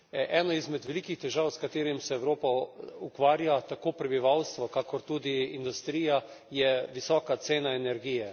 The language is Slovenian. Ena izmed velikih težav, s katerimi se Evropa ukvarja, tako prebivalstvo kakor tudi industrija, je visoka cena energije.